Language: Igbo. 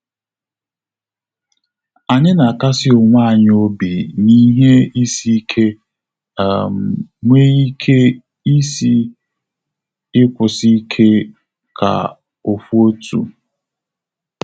Anyị na akasi onwe anyị obi n"ihe isi ike, um nwee ike isi ịkwụsị ike ka ofu otu